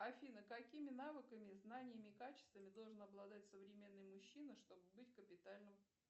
афина какими навыками знаниями качествами должен обладать современный мужчина чтобы быть капитальным